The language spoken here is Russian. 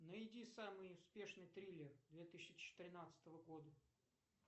найди самый успешный триллер две тысячи тринадцатого года